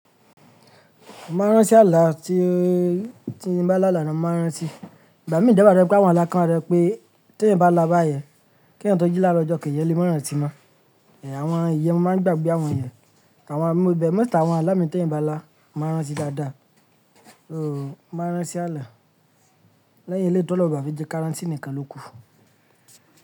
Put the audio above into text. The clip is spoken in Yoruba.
Máa rán tí ààlà tí tí n bá là là lọ máa rántí. Ìgbà mi dẹ̀ wà tó jẹ pé àwọn ààlà kan wa to jẹ pé tí èyìn bá là bá yẹn, kí èèyàn tó jí laaaro ọjọ́ k’èèyàn tó jí láàárò ọjọ́ kejì èèyàn le ma rántí mọ́. Ẹ̀ àwọn ìyẹn mo máa ń gbàgbé àwọn ìyẹn. Àwọn mo dẹ̀–most àwọn alá míì t’èèyàn bá là mi máa ń rántí dáadáa. Ooo, máa rán tí ààlà. Lẹ́yìn eléyìí t’Oloun ó bà fẹ́ jẹ́ ká rántí nìkan lò kú.